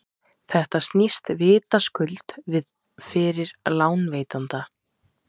þetta snýst vitaskuld við fyrir lánveitanda